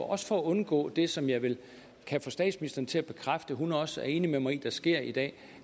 også for at undgå det som jeg vel kan få statsministeren til at bekræfte hun også er enig med mig i sker i dag